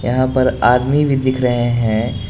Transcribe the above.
यहां पर आदमी भी दिख रहे हैं।